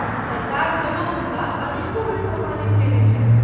सरकार सेहो हुनका अनेको बेर सम्मानित कयने छन्हि।